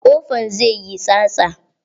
Ƙofan zai yi tsatsa.